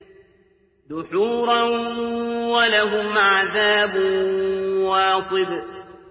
دُحُورًا ۖ وَلَهُمْ عَذَابٌ وَاصِبٌ